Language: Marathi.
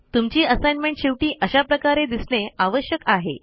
तुमची असाईनमेंट शेवटी अशा प्रकारे दिसणे आवश्यक आहे